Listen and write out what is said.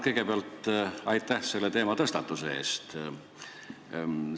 Kõigepealt aitäh selle teema tõstatuse eest!